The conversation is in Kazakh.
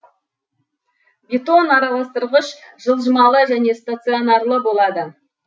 бетон араластырғыш жылжымалы және стационарлы болады